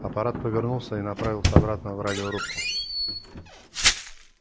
апорат повернулся и направился обратно в радиорубку